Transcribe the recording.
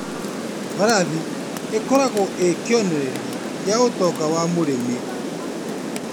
Mbarathi ĩkoragwo ĩ kĩonereria kĩa ũtonga wa mũrĩmĩ.